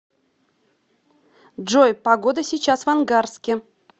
джой погода сейчас в ангарске